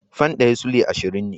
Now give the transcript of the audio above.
Fan ɗaya Sulai ashirin ne